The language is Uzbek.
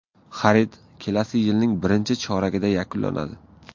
Xarid kelasi yilning birinchi choragida yakunlanadi.